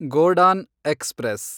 Godan express